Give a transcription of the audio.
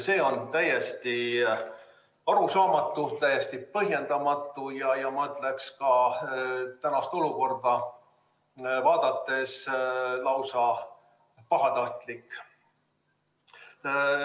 See on täiesti arusaamatu, täiesti põhjendamatu ja ma ütleks ka, et tänast olukorda vaadates lausa pahatahtlik.